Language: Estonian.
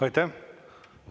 Aitäh!